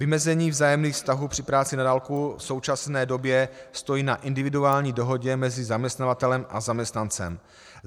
Vymezení vzájemných vztahů při práci na dálku v současné době stojí na individuální dohodě mezi zaměstnavatelem a zaměstnancem.